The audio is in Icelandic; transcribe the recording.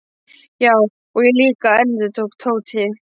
Já, og ég líka endurtók Tóti.